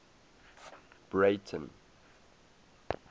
breyten